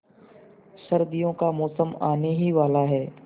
सर्दियों का मौसम आने ही वाला है